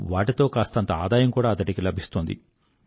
వాటితో కాస్తంత ఆదాయం కూడా అతడికి లభిస్తోంది